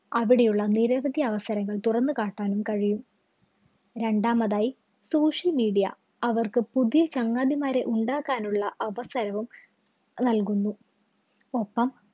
അവിടെയുള്ള നിരവധി അവസരങ്ങള്‍ തുറന്നു കാട്ടാനും കഴിയും. രണ്ടാമതായി social media അവര്‍ക്ക് പുതിയ ചങ്ങാതിമാരെ ഉണ്ടാക്കാനുള്ള അവസരവും നല്‍കുന്നു. ഒപ്പം